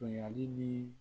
Bonyali ni